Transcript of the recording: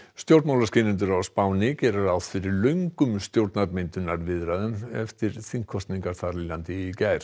stjórnmálaskýrendur á Spáni gera ráð fyrir löngum stjórnarmyndunarviðræðum eftir þingkosningar þar í landi í gær